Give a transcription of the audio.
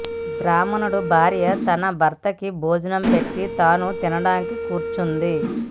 బ్రాహ్మణుడి భార్య తన భర్తకి భోజనం పెట్టి తాను తినడానికి కూర్చుంది